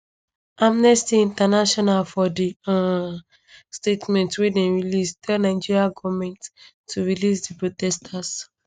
amnesty international for di um statement wey dem release tell nigerian goment to release di protesters